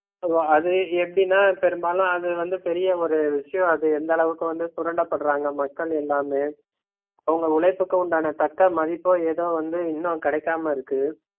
அது எப்படினா பெரும்பாலும் அது வந்து பெரிய ஒரு விஷயம் அது எந்த அளவுக்கு வந்து சுரண்டபட்றாங்க மக்கள் எல்லாமே அவுங்க உழைப்புக்கு உண்டான தக்க மதிப்போ ஏதோ வந்து இன்னும் கிடைக்காம இருக்கு